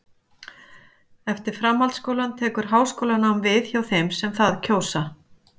Eftir framhaldsskólann tekur háskólanám við hjá þeim sem það kjósa.